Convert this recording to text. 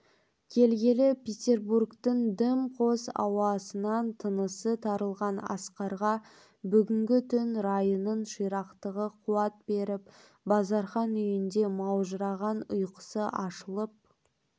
келгелі петербургтің дым қос ауасынан тынысы тарылған асқарға бүгінгі түн райының ширақтығы қуат беріп базархан үйінде маужыраған ұйқысы ашылып